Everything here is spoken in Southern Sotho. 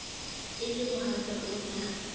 e le mohatsa o na